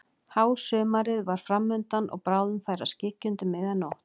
Hásumarið var fram undan og bráðum færi að skyggja undir miðja nótt.